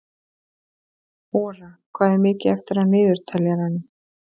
Ora, hvað er mikið eftir af niðurteljaranum?